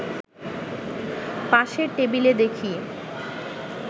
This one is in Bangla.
পাশের টেবিলে দেখি